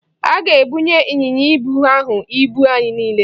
A ga-ebunye ịnyịnya ibu ahụ ibu anyị niile.